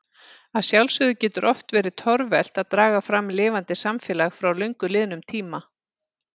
Að sjálfsögðu getur oft verið torvelt að draga fram lifandi samfélag frá löngu liðnum tíma.